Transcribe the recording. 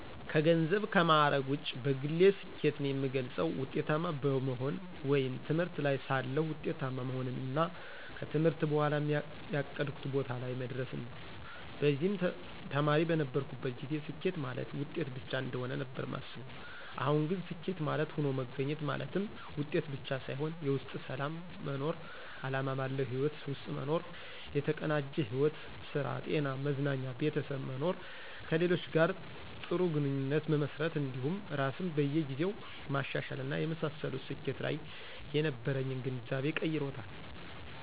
ከገንዘብና ከማዕረግ ውጪ በግሌ ስኬትን የምገልፀው ውጤታማ በመሆን ወይም ትምህርት ላይ ሳለሁ ውጤታማ መሆንንና ከትምህርት በኋም ያቀድኩት ቦታ ላይ መድረስን ነው። በዚህም ተማሪ በነበርኩበት ጊዜ ስኬት ማለት ውጤት ብቻ እንደሆነ ነበር ማስበው አሁን ግን ስኬት ማለት ሆኖ መገኘት ማለትም ውጤት ብቻ ሳይሆን የውስጥ ሰላም መኖር፣ አላማ ባለው ህይወት ውስጥ መኖር፣ የተቀናጀ ሕይወት ( ስራ፣ ጤና፣ መዝናኛ፣ ቤተሰብ) መኖር፣ ከሌሎች ጋር ጥሩ ግንኙነት መመስረት እንዲሁም ራስን በየ ጊዜው ማሻሻል እና የመሳሰሉት ስኬት ላይ የነበረኝን ግንዛቤ ቀይሮታል።